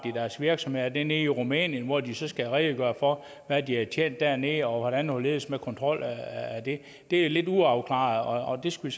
deres virksomhed er det nede i rumænien hvor de så skal redegøre for hvad de har tjent dernede og hvordan og hvorledes med kontrol af det det er lidt uafklaret og det skal